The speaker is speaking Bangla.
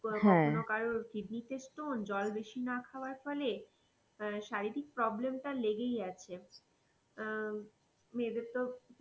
কারোর কিডনি তে stone জল না খাবার ফলে শারীরিক problem টা লেগেই আছে আহ মেয়েদের তো PCOD